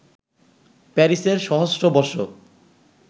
প্যারিসের সহস্র বর্ষ